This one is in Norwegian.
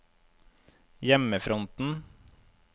hjemmefronten